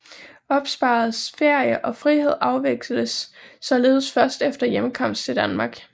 Opsparet ferie og frihed afvikles således først efter hjemkomst til Danmark